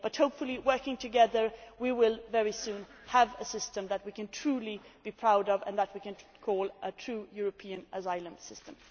But hopefully, by working together, we will very soon have a system that we can truly be proud of and that we can call a true European asylum system.